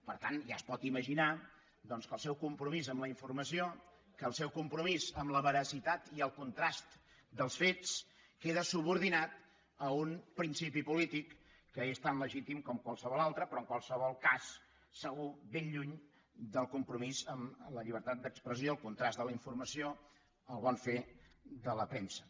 per tant ja es pot imaginar doncs que el seu compro·mís amb la informació que el seu compromís amb la veracitat i el contrast dels fets queda subordinat a un principi polític que és tan legítim com qualsevol altre però en qualsevol cas segur ben lluny del compromís amb la llibertat d’expressió el contrast de la informa·ció el bon fer de la premsa